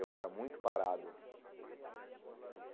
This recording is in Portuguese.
Eu era muito parado.